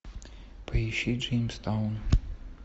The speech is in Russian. поищи джеймстаун